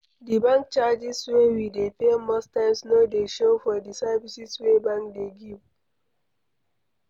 Di bank charges wey we dey pay most times no dey show for di services wey bank dey give